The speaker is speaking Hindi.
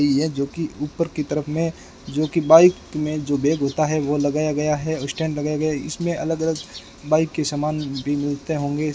कि है जो कि ऊपर की तरफ में जो कि बाइक में जो बैग होता है वो लगाया गया है और स्टैंड लगाया गया इसमें अलग-अलग बाइक के सामान भी मिलते होंगे।